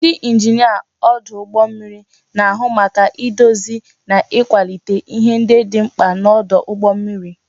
Ndị injinia ọdụ ụgbọ mmiri na-ahụ maka idozi na ịkwalite ihe ndị dị mkpa n'ọdụ ụgbọ mmiri